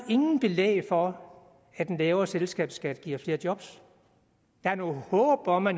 ingen belæg for at en lavere selskabsskat giver flere job der er nogle håb om at